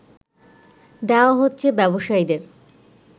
দেয়া হচ্ছে ব্যবসায়ীদের